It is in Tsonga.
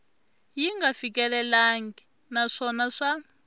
yi nga fikelelangi naswona swa